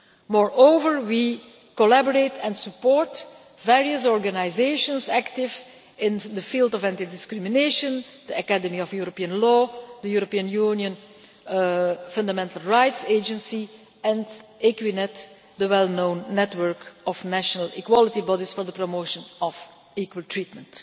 Moreover, we collaborate and support various organisations active in the field of anti discrimination the Academy of European law, the European Union Fundamental Rights Agency and Equinet, the well known network of national equality bodies for the promotion of equal treatment.